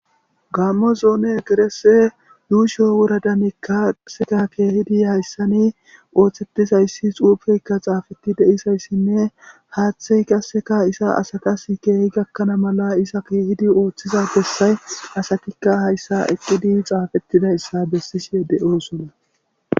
gammo zoone gerese yuusho woradamikkaseka keehidi hayssani ooththettizayssi xuufeyka xaafetti deisayssinne haaththey kasseka isa asatas keehi gakkana mala isa keehidi ooththiza bessay asatikka hayssa eqqidi xaafettida ssa bessise de7osona